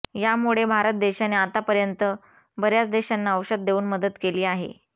यामुळेच भारत देशाने आतापर्यंत बऱ्याच देशांना औषध देऊन मदत केली आहे